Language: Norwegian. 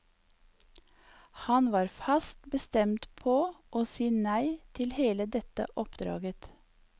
Han var fast bestemt på å si nei til hele dette oppdraget.